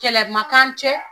Kɛlɛ ma k'an cɛ!